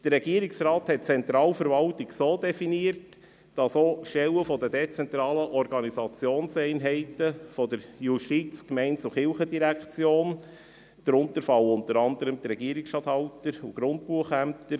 Der Regierungsrat hat «Zentralverwaltung» so definiert, dass auch Stellen der dezentralen Organisationseinheiten der JGK darunterfallen, unter anderem die Regierungsstatthalter- und Grundbuchämter.